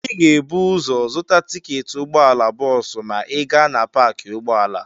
Ị ga-ebu ụzọ zụta tiketi ụgbọala bọọsụ ma ị gaa na paakị ụgbọala.